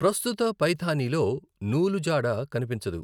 ప్రస్తుత పైథానిలో నూలు జాడ కనిపించదు.